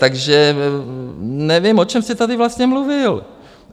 Takže nevím, o čem jste tady vlastně mluvil.